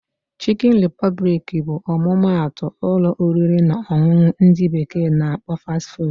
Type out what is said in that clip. Chikin repụblik bụ ọmụma atụ ụlọ oriri na ọṅụṅụ ndị bekee na akpọ 'Fast food'